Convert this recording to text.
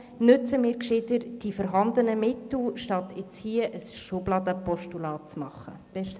Nutzen wir lieber die vorhandenen Mittel, anstatt ein Postulat für die Schublade zu überweisen.